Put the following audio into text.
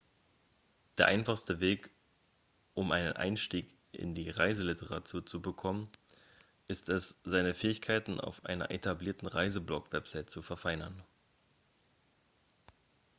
der einfachste weg um einen einstieg in die reiseliteratur zu bekommen ist es seine fähigkeiten auf einer etablierten reiseblog-webseite zu verfeinern